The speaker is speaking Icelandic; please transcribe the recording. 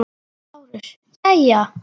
LÁRUS: Jæja!